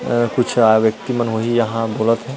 अ कुछ आ व्यक्ति मन वही यहाँ बोलत हे।